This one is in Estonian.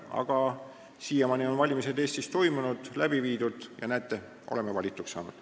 Aga siiamaani on valimised Eestis toimunud ja näete, oleme valituks saanud.